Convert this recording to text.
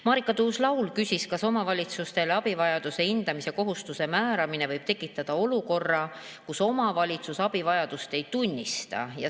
Marika Tuus-Laul küsis, kas omavalitsustele abivajaduse hindamise kohustuse võib tekitada olukorra, kus omavalitsus abivajadust ei tunnista.